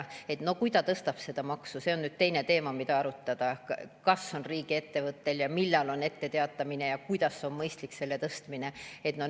No kui ta tõstab seda, siis see on nüüd teine teema, mida arutada, kas ja kuidas on riigiettevõttel see mõistlik ja millal peaks ette teatama.